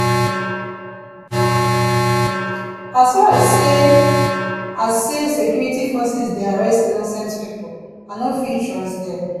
as far as sey as sey security forces dey harass innocent pipo i no fit trust dem